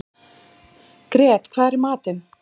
Grét, hvað er í matinn?